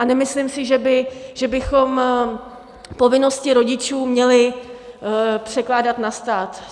A nemyslím si, že bychom povinnosti rodičů měli překládat na stát.